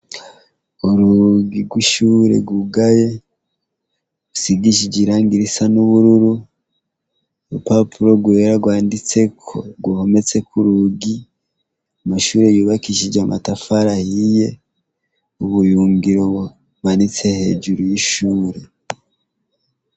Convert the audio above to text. Urugi rw'ishure rwugaye , usigishije irangi risa n'ubururu, urupapuro rwera rwanditseko ruhometse k'urugi. Amashure yubakishije amatafari ahiye, ubuyungiro bumanitse hejuru y'ishure.